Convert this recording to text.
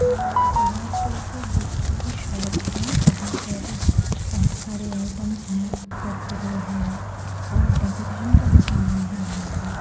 ये general store के bakery की शॉप है जहां पर बहुत सारे आइटम्स है कुरकुरे हैं और डेकोरेशन का भी समान है यहां पर --